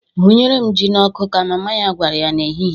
"Hunyere m Jị n'ọkụ!" ka mama ya gwara ya n'ehihie.